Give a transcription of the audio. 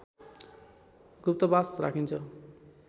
गुप्तवास राखिन्छ